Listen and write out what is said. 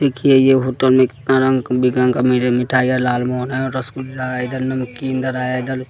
देखिए ये होटल में कितना रंग विरंग का मेरे मिठाई है लाल मोहन है रसगुल्ला है इधर नमकीन धारा है --